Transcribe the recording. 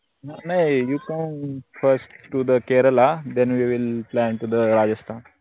नाई firsttothe Kerala thenwewillplantothe Rajasthan